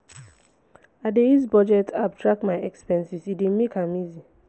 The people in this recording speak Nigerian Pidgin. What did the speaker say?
i dey use budget app track my expenses e dey make am easy.